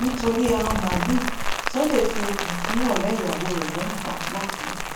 nítorí ẹran màálùú sunday fi okùn fún ọrẹ ìyàwó rẹ lọrun pa làkúrẹ